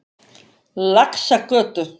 Laxagötu